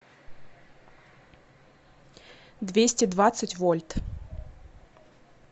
двести двадцать вольт